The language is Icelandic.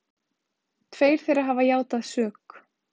Tveir þeirra hafa játað sök